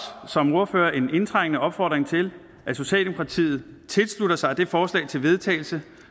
som ordførerer en indtrængende opfordring til at socialdemokratiet tilslutter sig det forslag til vedtagelse